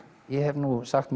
ég hef nú sagt